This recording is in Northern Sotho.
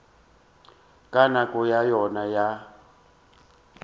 ka nako ya yona ya